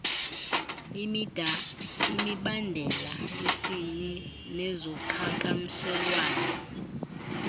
imibandela yesini nezoqhakamshelwano